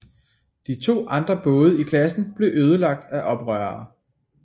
De to andre både i klassen blev ødelagt af oprørere